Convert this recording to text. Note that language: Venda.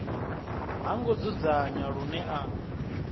ha ngo dzudzanywa lune a